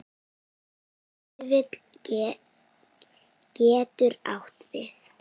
Vífill getur átt við